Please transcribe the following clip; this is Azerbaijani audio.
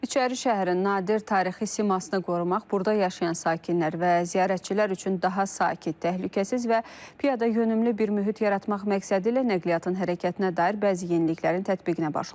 İçəri şəhərin nadir tarixi simasını qorumaq, burda yaşayan sakinlər və ziyarətçilər üçün daha sakit, təhlükəsiz və piyadayönümlü bir mühit yaratmaq məqsədilə nəqliyyatın hərəkətinə dair bəzi yeniliklərin tətbiqinə başlanılıb.